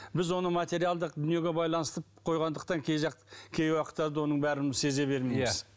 біз оны материалдық дүниеге байланыстырып қойғандықтан кей жақ кей уақыттарда оның бәрін сезе бермейміз